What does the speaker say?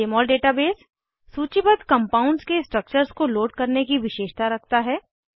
जमोल database सूचीबद्ध compounds के structures को लोड करने की विशेषता रखता है